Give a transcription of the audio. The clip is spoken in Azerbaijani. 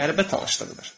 Qəribə tanışlıq idi.